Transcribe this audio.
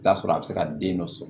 I bi t'a sɔrɔ a bɛ se ka den dɔ sɔrɔ